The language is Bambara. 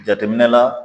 Jateminɛ la